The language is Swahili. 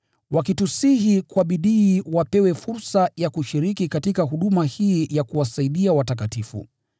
wakitusihi kwa bidii wapewe fursa ya kushiriki katika huduma hii ya kuwasaidia watakatifu.